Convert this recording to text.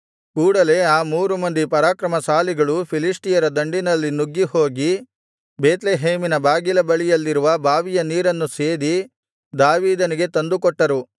ಕೂಡಲೇ ಆ ಮೂರು ಮಂದಿ ಪರಾಕ್ರಮಶಾಲಿಗಳು ಫಿಲಿಷ್ಟಿಯರ ದಂಡಿನಲ್ಲಿ ನುಗ್ಗಿ ಹೋಗಿ ಬೇತ್ಲೆಹೇಮಿನ ಬಾಗಿಲ ಬಳಿಯಲ್ಲಿರುವ ಬಾವಿಯ ನೀರನ್ನು ಸೇದಿ ದಾವೀದನಿಗೆ ತಂದು ಕೊಟ್ಟರು